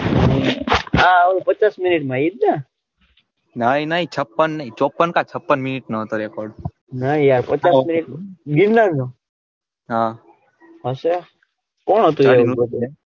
પચાસ minute માં એજ ને ના એ નઈ છપ્પન નાઈચોપ્પન કાડછપ્પન minute નો હતો record ના યારપચાસ minute ગિરનાર નો હા હશે કોણ હતું એ .